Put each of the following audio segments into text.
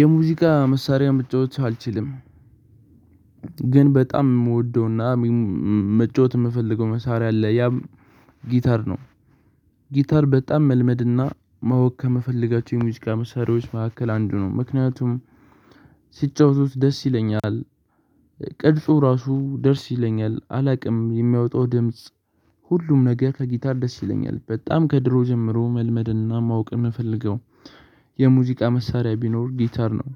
የሙዚቃ መሳሪያ መጫወት አልችልም። ግን በጣም የምወደውና መጫወት የምፈልገው መሳሪያ አለ ያም ጊታር ነው። ጊታር በጣም መልመድና ማወቅ ከምፈልጋቸው የሙዚቃ መሳሪያዎች መካከል አንዱ ነው ምክንያቱም ሲጫወቱት ደስ ይለኛል። ቅርጹ ራሱ ደርስ ይለኛል አላውቅም የሚያወጣው ድምጽ ሁሉም ነገ ከጊታር ደስ ይለኛል በጣም ከድሮ ጀምሮ መልመድና ማወቅ የምፈልገው የሙዚቃ መሳሪያ ቢኖር ጊታር ነው።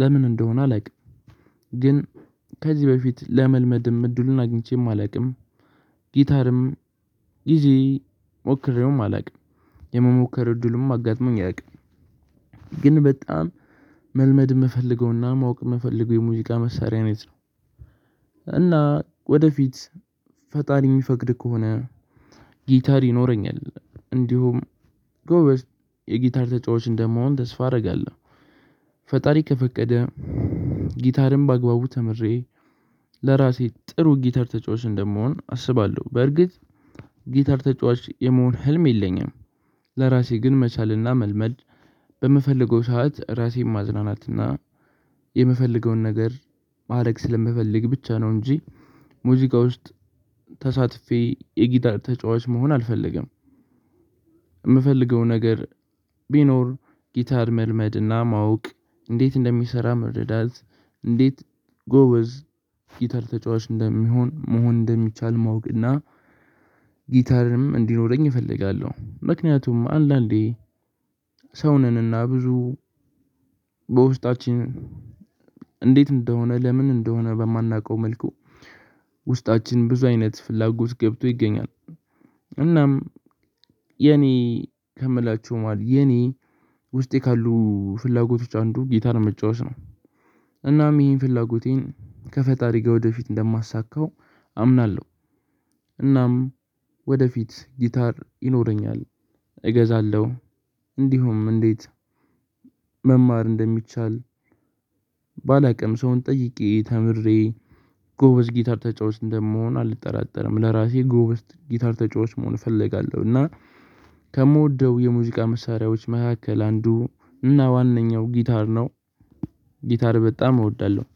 ለምን እንደሆነ አላውቅም። ግን ከዚህ በፊት ለመልመድም እድሉን አግኝቼም አላውቅም። ጊታርም ጊዜ ሞክሬውም አላውቅም የመሞከር እድልም አጋጥሞኝ አያውቅም። ግን በጣም መልመድ የምፈልገውና ማወቅ የምፈልገው የሙዚቃ መሳሪያ አይነት ነው። እና ወደፊት ፈጣሪ የሚፈቅድ ከሆነ ጊታር ይኖረኛል እንዲሁም ጎበዝ የጊታር ተጫዋቾች እንደመሆን ተስፋ አደርጋለሁ። ፈጣሪ ከፈቀደ ጊታርም በአግባቡ ተምሬ ለራሴ ጥሩ ጊታር ተጫዋች እንደምሆን አስባለሁ በርግጥ ጊተር ተጫዋች የመሆን ህልም የለኝም። ለራሴ ግን መቻልና መልመድ በምፈልገው ሰዓት ራሴን ማዝናናትና የምፈልገውን ነገር ማዕረግ ስለምፈልግ ብቻ ነው እንጂ ሙዚቃ ውስጥ ተሳትፌ የጊታር ተጫዋች መሆን አልፈልግም። የምፈልገው ነገር ቢኖር ጊታር መልመድና ማወቅ እንዴት እንደሚሰራ መረዳት እንዴት ጎበዝ ጊታር ተጫዋች እንደሚሆን መሆን እንደሚቻል ማወቅና? ጊታርም እንዲኖረኝ እፈልጋለሁ። ምክንያቱም አንዳንዴ ሰው ነንና ብዙ በውስጣችን እንዴት እንደሆነ ለምን እንደሆነ በማናውቀው መልኩ ውስጣችን ብዙ አይነት ፍላጎት ገብቶ ይገኛል። እናም የኔ ከምላችሁ ማለት የኔ ውስጤ ካሉ ፍላጎቶች አንዱ ጌታር መጫወት ነው። እናም ይህን ፍላጎቴን ከፈጣሪ ጋር ወደፊት እንደማሳካው አምናለሁ። እናም ወደፊት ጊታር ይኖረኛል እገዛለሁ እንዲሁም እንዴት መማር እንደሚቻል? ባላቅም ሰውን ጠይቄ ተምሬ ጎበዝ ጊታር ተጫዋች እንደምሆን አልጠራጠርም። ለራሴ ጎበዝ ጊታር ተጫዋች መሆን እፈልጋለሁ እና ከምወደው የሙዚቃ መሳሪያዎች መካከል አንዱ እና ዋናው ጊታር ነው። ጊታር በጣም እወዳለሁ